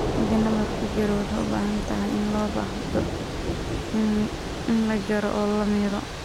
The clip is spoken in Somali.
Haddii nabarku jiro, waxay u badan tahay in loo baahdo in la jaro oo la miiro.